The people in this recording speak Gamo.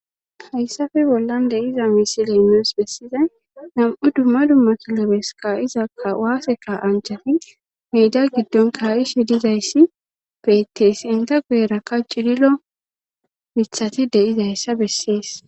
hayssafe bollan de7iza misiley nuus bessizay nam7u dumma dummo kilobeska izakawaaseka anchafi miida giddon kaa7ishi dizayssi beetees inta guyerakka cililo mithati de7izayssa bessees